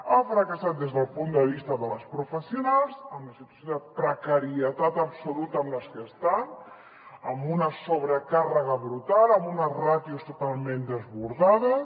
ha fracassat des del punt de vista de les professionals amb la situació de precarietat absoluta amb les que estan amb una sobrecàrrega brutal amb unes ràtios totalment desbordades